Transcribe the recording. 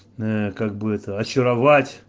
как бы это очаровать